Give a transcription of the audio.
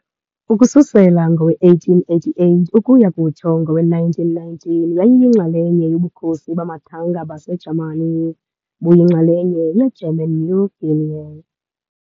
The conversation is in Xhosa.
Ukususela ngowe-1888 ukuya kutsho ngowe-1919 yayiyinxalenye yoBukhosi bamathanga baseJamani, buyinxalenye yeGerman New Guinea.